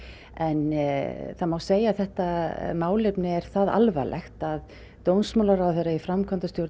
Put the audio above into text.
en það má segja að þetta málefni er það alvarlegt að dómsmálaráðherra í framkvæmdastjórn